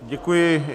Děkuji.